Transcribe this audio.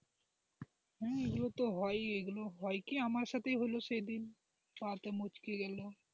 হম এগুলো তো হয়ই এগুলো হয় কি আমার সাথে হলো সেদিন পা টা মচকে গেল,